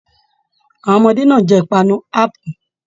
Àwọn ọmọdé náà n jẹ ipanu apu.